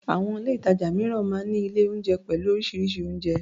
Àwọn ilé-ìtàjà mìíràn máa ń ní ilé-oúnjẹ pẹ̀lú oríṣiríṣi oúnjẹ.